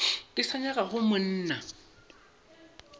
ke sa nyaka go mmona